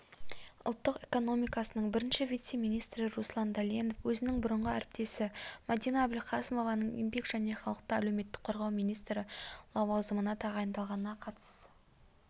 ұлттық экономикасының бірінші вице-министрі руслан дәленов өзінің бұрынғы әріптесі мәдина әбілқасымованың еңбек және халықты әлеуметтік қорғау министрі лауазымына тағайындалғанына қатысты пікір